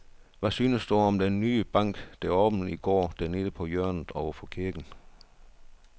Hvad synes du om den nye bank, der åbnede i går dernede på hjørnet over for kirken?